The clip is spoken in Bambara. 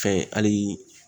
Fɛn hali